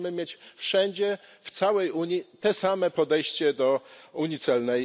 Musimy mieć wszędzie, w całej Unii, te same podejście do unii celnej.